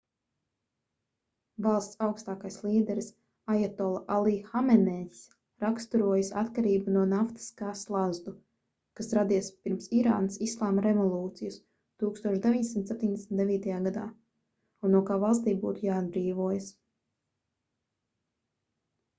valsts augstākais līderis ajatolla alī hamenejs raksturojis atkarību no naftas kā slazdu kas radies pirms irānas islāma revolūcijas 1979. gadā un no kā valstij būtu jāatbrīvojas